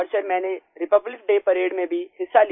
और सर मैंने Republic Day parade में भी हिस्सा